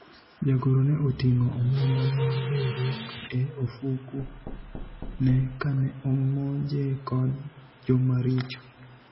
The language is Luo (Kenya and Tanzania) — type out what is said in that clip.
jagoro ne oting'o omenda mar riwruok e ofuku ne kane omonje kod jomaricho